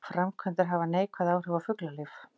Framkvæmdir hafa neikvæð áhrif á fuglalíf